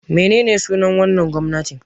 Menene sunar wannan gwamnatin?